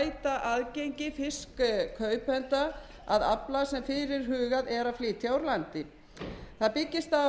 að afla sem fyrirhugað er að flytja úr landi það byggist á vinnu starfshóps sem ráðherra skipaði